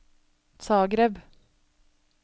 Zagreb